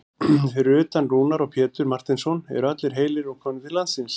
Fyrir utan Rúnar og Pétur Marteinsson eru allir heilir og komnir til landsins?